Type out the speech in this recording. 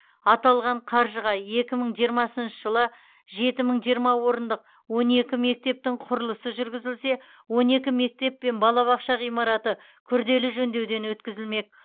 аталған қаржыға екі мың жиырмасыншы жылы жеті мың жиырма орындық он екі мектептің құрылысы жүргізілсе он бір мектеп пен балабақша ғимараты күрделі жөндеуден өткізілмек